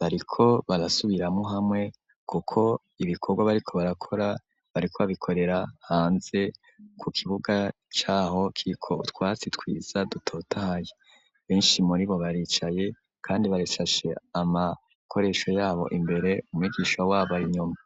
bariko barasubiramwo hamwe kuko ibikorwa bariko barakora bariko babikorera hanze ku kibuga caho kiko twatsi twiza dutotahaye, benshi muribo baricaye kandi barashashe amakoresho yabo imbere umwigisha wabo arinyuma.